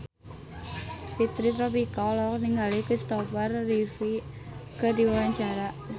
Fitri Tropika olohok ningali Kristopher Reeve keur diwawancara